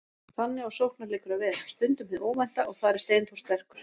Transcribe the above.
Þannig á sóknarleikur að vera, stundum hið óvænta, og þar er Steinþór sterkur.